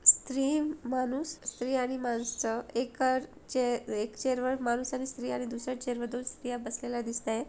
स्त्री माणूस स्त्री आणि माणस एका चे एक चेयर वर माणस आणि स्त्री आणि दुसर्‍या चेयर वर दोन स्त्रिया बसलेल्या दिसताय.